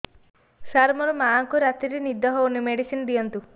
ସାର ମୋର ମାଆଙ୍କୁ ରାତିରେ ନିଦ ହଉନି ମେଡିସିନ ଦିଅନ୍ତୁ